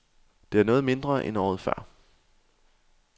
Det er noget mindre, end året før.